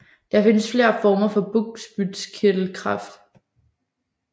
Der findes flere former for bugspytkirtelkræft